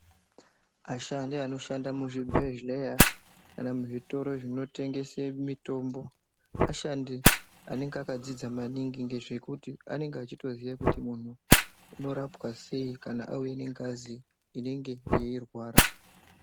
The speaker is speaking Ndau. Ashandi anoshanda muzvibhedhleya kana muzvitoro zvinotengesa mitombo, ashandi anenge akadzidza maningi ngezvekuti anenge eyitoziya kuti muntu unorapwa sei kana achinge auya nengazi inenge yeyirwara.